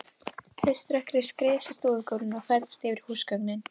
Hauströkkrið skreið eftir stofugólfinu og færðist yfir húsgögnin.